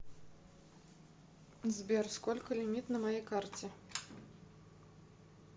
сбер сколько лимит на моей карте